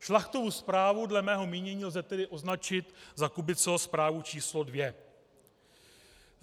Šlachtovu zprávu dle mého mínění lze tedy označit za Kubiceho zprávu číslo dvě.